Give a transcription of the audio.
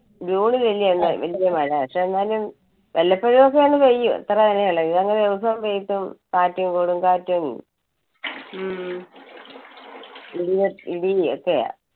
ജൂണിൽ അല്ലേ വലിയ മഴ. പക്ഷെ എന്നാലും വല്ലപ്പോഴും ഒക്കെ അങ്ങ് പെയ്യും ഇത്ര അല്ല ഇത് അങ്ങ് ദിവസവും പെയ്തു കാറ്റും കൊടുംകാറ്റും ഇടി~ഇടീം ഒക്കെയാ.